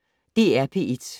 DR P1